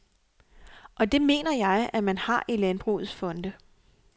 Og det mener jeg, at man har i landbrugets fonde.